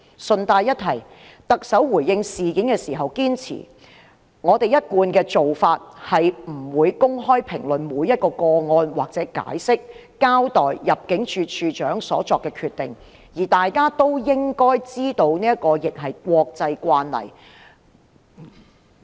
順帶一提，特首回應事件時堅稱："我們一貫的做法是不會公開評論每一宗個案或解釋、交代入境事務處處長所作的決定，而大家都應該知道這亦是國際慣例。